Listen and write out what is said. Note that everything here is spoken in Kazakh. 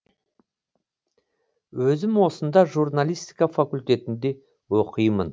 өзім осында журналистика факультетінде оқимын